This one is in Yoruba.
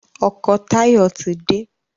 ọkọ Tayo tí dé